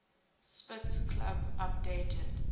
spitz club updated